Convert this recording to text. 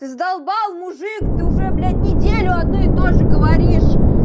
ты задолбал мужик ты уже блять неделю одно и тоже говоришь